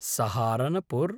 Saharanpur